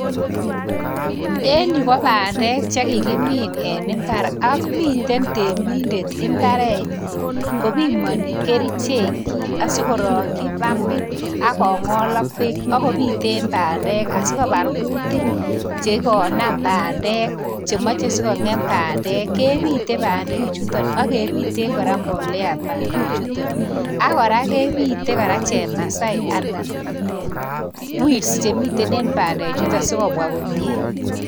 En yu ko bandek chekikimin en imbar. Ak miten temindet imbarenyin kopimoni kerichek asikorokyii pampit ak kongol ak beek, akobiten bandek ,asikobar kuutik chekonaam bandek. chemoche sikongeem bandek, kebite bandechuton akebiten kora mbolea bandechuton. Akora kebite chemasai anan weeds chemiten en bandechuton sikobwa komie.